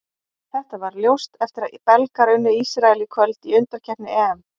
Þetta varð ljóst eftir að Belgar unnu Ísrael í kvöld í undankeppni EM.